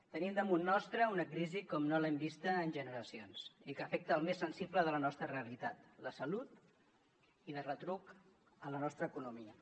tenim damunt nostre una crisi com no l’hem vista en generacions i que afecta el més sensible de la nostra realitat la salut i de retruc la nostra economia